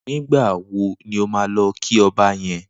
Nigbà wó ni ó mà lọ ki ọ̀bá yèn?